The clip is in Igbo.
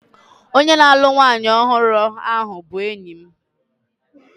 Onye na-alụ nwanyị ọhụrụ bụ enyi m.